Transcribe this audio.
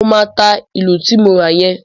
Mo máa ta ìlù ti mo ra yẹn.